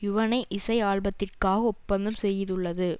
யுவனை இசை ஆல்பத்திற்காக ஒப்பந்தம் செய்துள்ளது